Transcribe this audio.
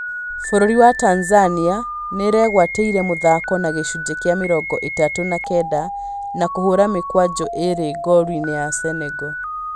Bũrũri wa Tanzania nĩĩregwatĩire mũthako na gĩcunjĩ kĩa mĩrongo ĩtatũ na kenda, na kũhũra mĩkwanjo ĩrĩ ngolu-inĩ ya Senegal